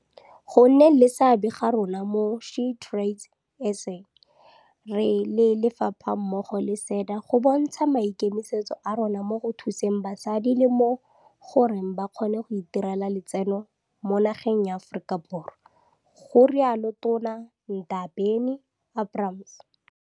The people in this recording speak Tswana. Go nneng le seabe ga rona mo go SheTradesZA re le lefapha mmogo le SEDA go bontsha maikemisetso a rona mo go thuseng basadi le mo goreng ba kgone go itirela letseno mo nageng ya Aforika Borwa, ga rialo Tona Ndabeni-Abrahams.